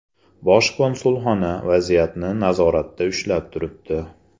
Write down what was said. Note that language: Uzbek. Bosh konsulxona vaziyatni nazoratda ushlab turibdi.